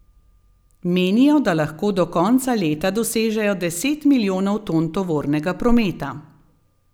Menijo, da lahko do konca leta dosežejo deset milijonov ton tovornega prometa.